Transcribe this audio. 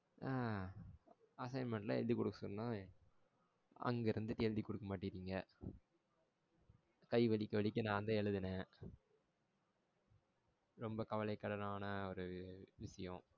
ஆ assignment எல்லாம் எழுதி கொடுக்கா சொன்னா அங்க இருந்துட்டு எழுதி குடுக்கா மாட்டிறிங்க. கை வலிக்க வலிக்க நான் தான் எழுதுனேன். ரொம்ப கவலைக்கிடமான ஒரு விச்சியம்.